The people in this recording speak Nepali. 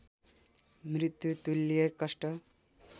मृत्युतुल्य कष्ट